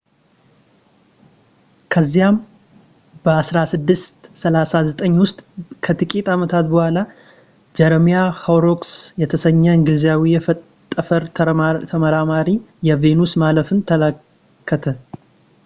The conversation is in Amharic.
ከዚያም 1639 ውስጥ ከጥቂት ዓመታት በኋላ ጀረሚያ ሆሮክስ የተሰኘ እንግሊዛዊ የጠፈር ተመራማሪ የቬኑስ ማለፍን ተመለከተ